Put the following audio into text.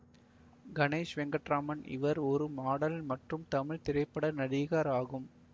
கணேஷ் வெங்கட்ராமன் இவர் ஒரு மாடல் மற்றும் தமிழ் திரைப்பட நடிகர் ஆகும்